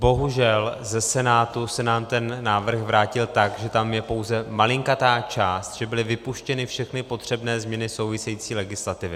Bohužel ze Senátu se nám ten návrh vrátil tak, že tam je pouze malinkatá část, že byly vypuštěny všechny potřebné změny související legislativy.